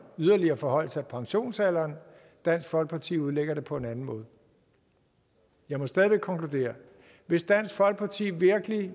yderligere forhøjelse af pensionsalderen og dansk folkeparti udlægger det på en anden måde jeg må stadig væk konkludere hvis dansk folkeparti virkelig